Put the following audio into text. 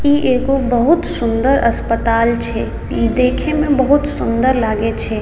इ एगो बहुत सुंदर अस्पताल छै देखे में बहुत सुंदर लगे छै।